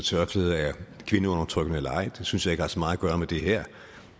tørklæder er kvindeundertrykkende eller ej det synes jeg ikke har så meget at gøre med det her